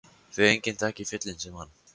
Því enginn þekkir fjöllin sem hann.